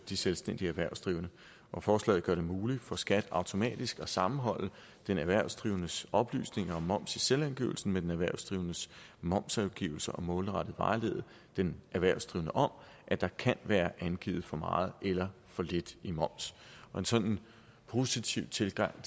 de selvstændige erhvervsdrivende og forslaget gør det muligt for skat automatisk at sammenholde den erhvervsdrivendes oplysninger om moms i selvangivelsen med den erhvervsdrivendes momsangivelse og målrettet vejlede den erhvervsdrivende om at der kan være angivet for meget eller for lidt i moms en sådan positiv tilgang